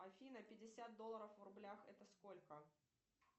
афина пятьдесят долларов в рублях это сколько